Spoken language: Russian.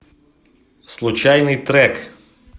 случайный трек